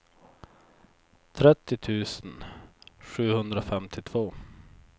trettio tusen sjuhundrafemtiotvå